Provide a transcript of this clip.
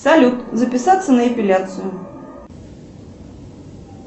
салют записаться на эпиляцию